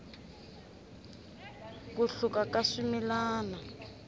ku hluka ka swimilana